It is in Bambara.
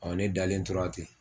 ne dalen tora ten